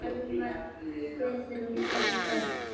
Almar, Guðrún og börn.